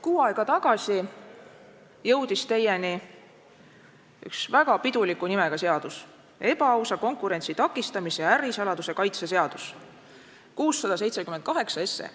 Kuu aega tagasi jõudis teieni üks väga piduliku nimega seaduseelnõu: ebaausa konkurentsi takistamise ja ärisaladuse kaitse seaduse eelnõu, 678 SE.